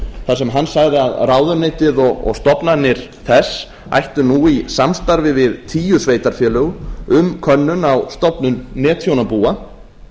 þar sem hann sagði að ráðuneytið og stofnanir þess ættu nú í samstarfi við tíu sveitarfélög um könnun á stofnun netþjónabúa